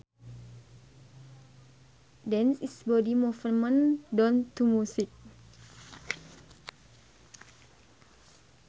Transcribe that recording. Dance is body movement done to music